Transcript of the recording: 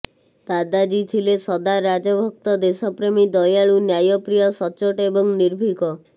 ଦାଦାଜୀ ଥିଲେ ସଚ୍ଚା ରାଜଭକ୍ତ ଦେଶପ୍ରେମୀ ଦୟାଳୁ ନ୍ୟାୟପ୍ରିୟ ସଚ୍ଚୋଟ ଏବଂ ନିର୍ଭୀକ